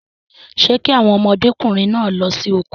Ṣé kí àwọn ọmọdékùnrin náà lọ sí oko?